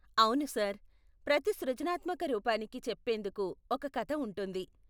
అవును సార్. ప్రతి సృజనాత్మక రూపానికి చెప్పేందుకు ఒక కథ ఉంటుంది.